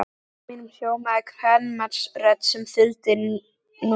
Í huga mínum hljómaði kvenmannsrödd sem þuldi númer.